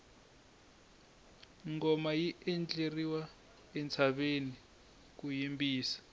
ngoma yi endleriwa entshaveni ku yimbisa